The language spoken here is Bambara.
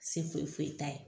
Se foyi foyi t'a ye